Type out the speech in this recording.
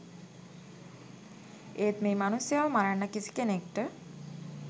ඒත් මේ මනුස්සයව මරන්න කිසි කෙනෙක්ට